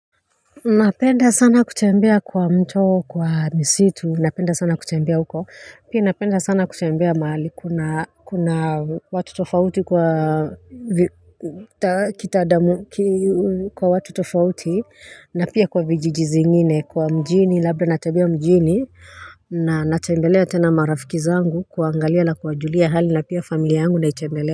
Napenda sana kutembea kwa mto kwa misitu napenda sana kutembea huko pia napenda sana kutembea mahali kuna kuna watu tofauti kwa kitadamu kwa watu tofauti na pia kwa vijiji zingine kwa mjini labda natembea mjini na natembelea tena marafiki zangu kuangalia na kuwajulia hali na pia familia yangu naitembelea.